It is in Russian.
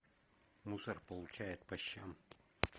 мусор получает по щам